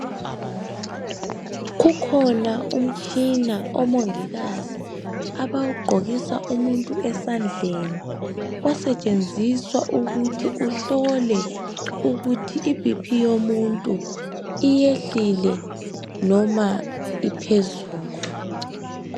Kukhona umtshina omongikazi abawugqokisa umuntu esandleni osetshenziswa ukuthi uhlole ukuthi i B.P yomuntu iyehlile noma iphezulu.